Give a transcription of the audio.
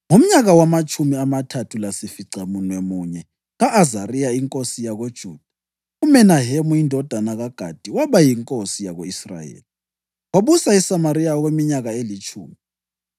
Ngomnyaka wamatshumi amathathu lasificamunwemunye ka-Azariya inkosi yakoJuda, uMenahemu indodana kaGadi waba yinkosi yako-Israyeli, wabusa eSamariya okweminyaka elitshumi.